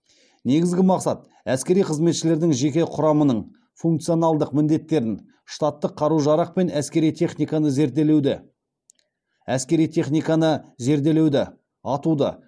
негізгі мақсат әскери қызметшілердің жеке құрамының функционалдық міндеттерін штаттық қару жарақ пен әскери техниканы зерделеуді атуды